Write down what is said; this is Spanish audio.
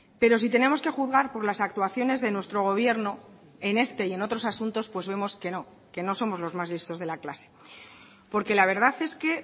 pero si tenemos que juzgar por las actuaciones de nuestro gobierno en este y en otros asuntos pues vemos que no que no somos los más listos de la clase porque la verdad es que